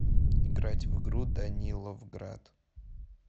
играть в игру даниловград